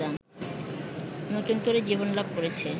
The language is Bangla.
নতুন করে জীবনলাভ করেছে